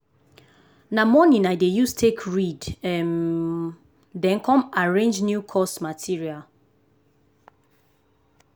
na morning i dey use take read um then come arrange new course material.